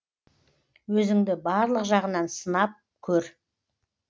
өзіңді барлық жағынан сынып көр